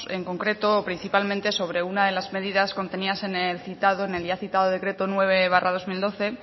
en concreto principalmente sobre una de las medidas contenidas en el ya citado decreto nueve barra dos mil doce